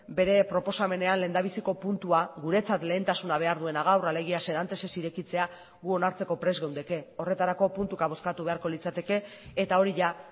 bere proposamenean lehendabiziko puntua guretzat lehentasuna behar duena gaur alegia serantes ez irekitzea gu onartzeko prest geundeke horretarako puntuka bozkatu beharko litzateke eta hori jada